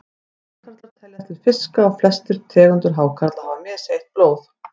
Hákarlar teljast til fiska og flestar tegundir hákarla hafa misheitt blóð.